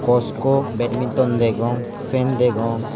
cosco badminton degong fan degong.